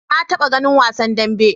Na taɓa ganin wasan dambe.